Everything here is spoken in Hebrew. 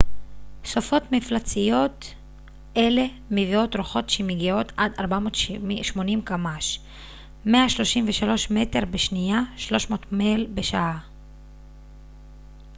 "סופות מפלצתיות אלה מביאות רוחות שמגיעות עד 480 קמ""ש 133 מטר בשנייה; 300 מייל בשעה.